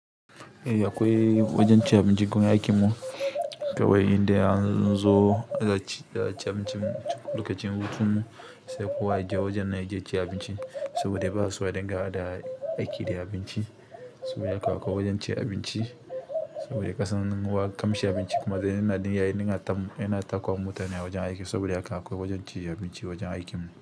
Eh akwai wajen ci abinci gun aikinmu kawai indai anzo za aci abincin lokacin hutunmu sai kowa ya je wajen na ya je ci abinci saboda ba aso a dinga haɗa aiki da abinci saboda haka akwai wajen ci abinci saboda ƙasan wa ƙamshi abinci kuma da yana da yayi ninga tamo yana takowa mutane a wajen aiki saboda haka akwai wajen cin abinci a wajen aikinmu.